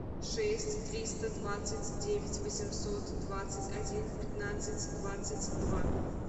шесть триста двадцать девять восемьсот двадцать один пятнадцать двадцать два